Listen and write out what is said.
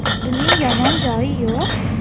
Buning yomon joyi yo‘q.